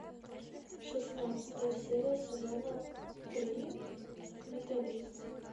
шестнадцатая серия сезона три менталист